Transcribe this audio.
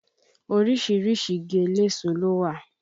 Orísìírísìí igi eléso ló wà